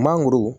Mangoro